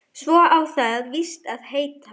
Svo á það víst að heita